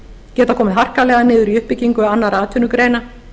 geta komið harkalega niður á uppbyggingu annarra atvinnugreina